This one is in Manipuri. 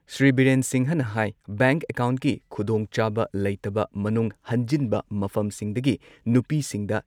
ꯁ꯭ꯔꯤ ꯕꯤꯔꯦꯟ ꯁꯤꯡꯍꯅ ꯍꯥꯏ ꯕꯦꯡꯛ ꯑꯦꯀꯥꯎꯟꯠꯀꯤ ꯈꯨꯗꯣꯡꯆꯥꯕ ꯂꯩꯇꯕ ꯃꯅꯨꯡ ꯍꯟꯖꯤꯟꯕ ꯃꯐꯝꯁꯤꯡꯗꯒꯤ ꯅꯨꯄꯤꯁꯤꯡꯗ